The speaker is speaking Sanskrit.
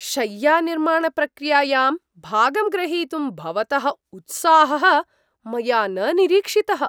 शय्यानिर्माणप्रक्रियायां भागं ग्रहीतुं भवतः उत्साहः मया न निरीक्षितः।